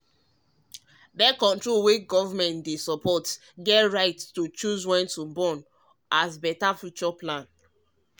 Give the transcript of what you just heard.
birth-control wey government dey backdey the right to choose when to born as better future plan